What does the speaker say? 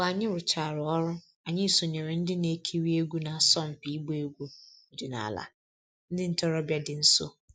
Mgbe anyị rụchara ọrụ, anyị sonyeere ndị na-ekiri egwu na-asọmpi ịgba egwu ọdịnala ndị ntorobịa dị nso